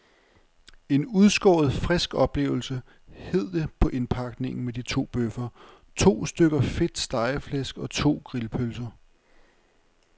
En udskåret frisk oplevelse, hed det på indpakningen med de to bøffer, to stykker fedt stegeflæsk og to grillpølser.